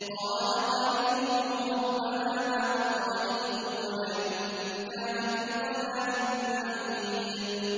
۞ قَالَ قَرِينُهُ رَبَّنَا مَا أَطْغَيْتُهُ وَلَٰكِن كَانَ فِي ضَلَالٍ بَعِيدٍ